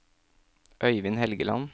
Øivind Helgeland